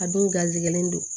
A dun garisigɛlen don